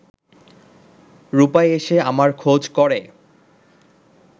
রূপাই এসে আমার খোঁজ করে